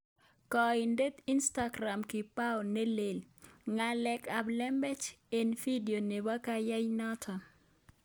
Koinde instakram kipao ne leen " ng'alek ab lembech" eng video nebo kecheiyanoto